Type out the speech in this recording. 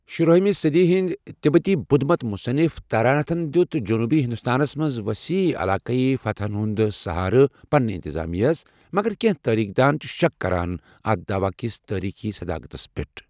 شُراہمہِ صٔدی ہنٛد تبتی بدھ مت مُصنف تراناتھن دِیُت جنوٗبی ہندوستانس منٛز ؤسیع علاقٲیی فتحن ہُنٛد سہارٕ پنٛنہِ انتظامیَس، مگر کٮ۪نٛہہ تٲریٖخ دان چھِ شک کران اَتھ داوٕ کِس تٲریٖخی صداقتَس پٮ۪ٹھ۔